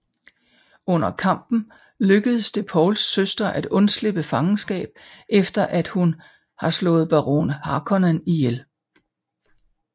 Under kampen lykkes det Pauls søster at undslippe fangenskab efter at hun har slået baron Harkonnen ihjel